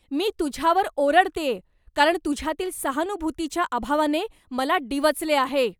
मी तुझ्यावर ओरडतेय कारण तुझ्यातील सहानुभूतीच्या अभावाने मला डिवचले आहे.